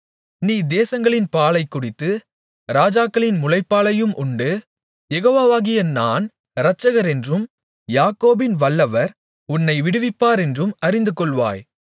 நீ தேசங்களின் பாலைக் குடித்து ராஜாக்களின் முலைப்பாலையும் உண்டு யெகோவாவாகிய நான் இரட்சகரென்றும் யாக்கோபின் வல்லவர் உன்னை விடுவிப்பவரென்றும் அறிந்துகொள்வாய்